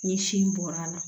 Ni sin bɔra a la